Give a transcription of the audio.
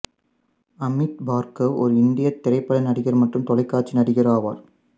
அமித் பார்கவ் ஓர் இந்தியத் திரைப்பட நடிகர் மற்றும் தொலைக்காட்சி நடிகர் ஆவார்